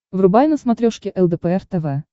врубай на смотрешке лдпр тв